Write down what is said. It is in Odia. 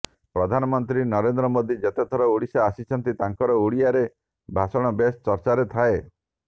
ପ୍ରଧାନମନ୍ତ୍ରୀ ନରେନ୍ଦ୍ର ମୋଦି ଯେତେ ଥର ଓଡ଼ିଶା ଆସିଛନ୍ତି ତାଙ୍କର ଓଡ଼ିଆରେ ଭାଷଣ ବେଶ ଚର୍ଚ୍ଚାରେ ଥାଏ